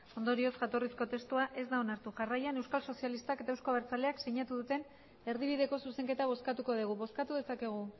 ondorioz jatorrizko testua ez da onartu jarraian euskal sozialistak eta euzko abertzaleak sinatu duten erdibideko zuzenketa bozkatuko dugu bozkatu dezakegu